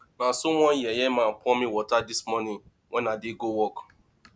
na so one yeye man pour me water dis morning wen i dey go work